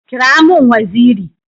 Kira mun waziri!